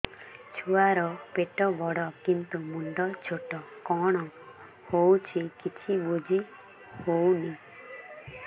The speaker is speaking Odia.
ଛୁଆର ପେଟବଡ଼ କିନ୍ତୁ ମୁଣ୍ଡ ଛୋଟ କଣ ହଉଚି କିଛି ଵୁଝିହୋଉନି